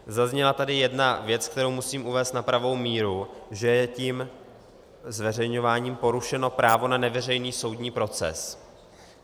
Zazněla tady jedna věc, kterou musím uvést na pravou míru, že je tím zveřejňováním porušeno právo na neveřejný soudní proces.